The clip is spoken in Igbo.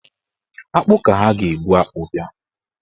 Akpụ ka ha ga-ebụ akpụ bịa.